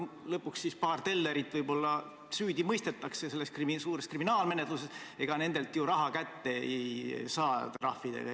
Lõpuks paar tellerit võib-olla mõistetakse süüdi selles suures kriminaalmenetluses, ega nendelt ju raha trahvidega eriti kätte ei saa.